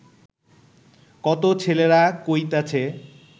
কত ছেলেরা কইতাছে